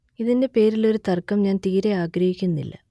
ഇതിന്റെ പേരിൽ ഒരു തർക്കം ഞാൻ തീരെ ആഗ്രഹിക്കുന്നില്ല